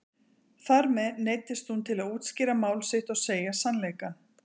Þar með neyddist hún til að útskýra mál sitt og segja sannleikann.